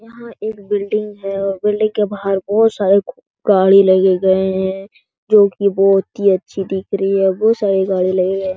यहाँ एक बिल्डिंग है बिल्डिंग के बाहर बहुत सारी गाड़ी लगे गए हैं जो कि बहुत ही अच्छी दिख रही है बहुत सारी गाड़ी लगे गए --